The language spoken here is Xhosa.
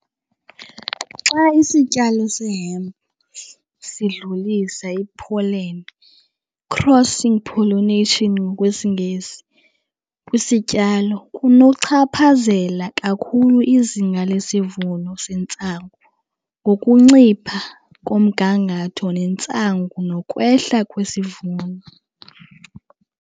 Xa isityalo se-hemp sidlulisa i-pollen, crossing pollination ngokwesiNgesi, kwisityalo kunochaphazela kakhulu izinga lesivuno sentsangu, ngokuncipha komgangatho wentsangu nokwehla kwisivuno.